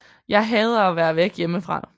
Jeg hader at være væk hjemmefra